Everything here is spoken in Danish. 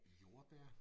Jordbær